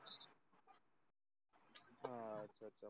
आह अच्छ अच्छा